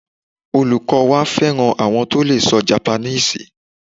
Olukọ wa fẹran awọn to lee sọ Japaníìsì